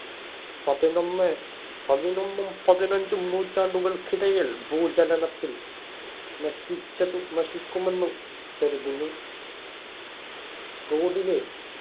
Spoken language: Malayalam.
പതിനൊന്നേ പതിനൊന്നും, പതിനഞ്ചും നൂറ്റാണ്ടുകള്‍ക്കിടയില്‍ ഭൂചലനത്തിൽ നശിച്ചതും നശിക്കുമെന്ന് കരുതുന്നു.